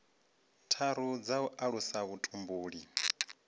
tharu dza u alusa vhutumbuli